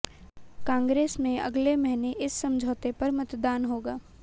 कांग्रेस में अगले महीने इस समझौते पर मतदान होगा